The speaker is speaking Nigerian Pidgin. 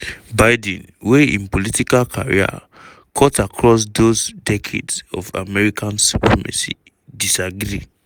biden wey im political career cut across those decades of american supremacy disagree.